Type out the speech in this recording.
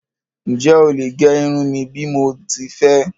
Ǹjẹ́ ó lè gé irun mí bí mo ti fé?